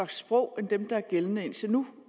sprog end dem der er gældende indtil nu